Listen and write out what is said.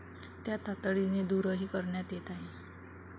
त्या तातडीने दूरही करण्यात येत आहेत.